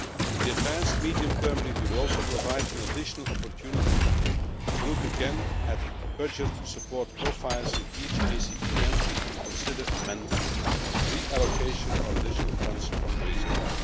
The advanced medium term review will also provide an additional opportunity to look again at budget support profiles in each ACP country and consider amendments, reallocation or additional funds from the reserve.